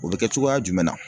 O be kɛ cogoya jumɛn na?